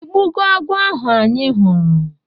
ịgbugo agwọ ahụ anyị fụrụ?